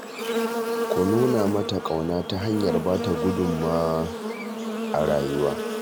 Ku nuna mata ƙauna ta hanyar ba ta gudunmawa a rayuwa